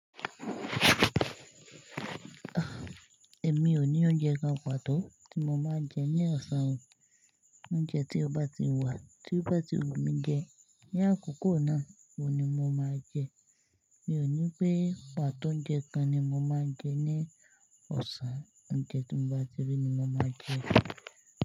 Èmi ò ní oúnjẹ kan pàtó tí mo máa ń jẹ ní ọ̀sán o. Oúnjẹ tí ọ bá ti wà, tí ó bá ti wù mí jẹ, ní àkókò náà oun ni mo máa jẹ. Mi ò ní pé pàtó oúnjẹ kan ni mo máa ń jẹ ní ọ̀sán, oúnjẹ tí mo bá ti rí ni mo máa jẹ.